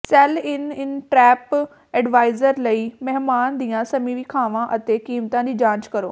cell Inn inn TripAdvisor ਲਈ ਮਹਿਮਾਨ ਦੀਆਂ ਸਮੀਖਿਆਵਾਂ ਅਤੇ ਕੀਮਤਾਂ ਦੀ ਜਾਂਚ ਕਰੋ